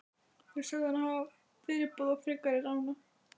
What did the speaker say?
Þeir sögðu hana fyrirboða frekari rána.